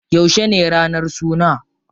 Yauce ne ranar suna?